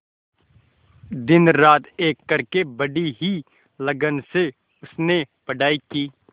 दिनरात एक करके बड़ी ही लगन से उसने पढ़ाई की